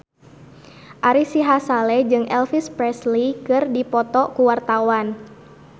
Ari Sihasale jeung Elvis Presley keur dipoto ku wartawan